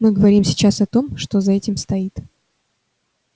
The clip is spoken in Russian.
мы говорим сейчас о том что за этим стоит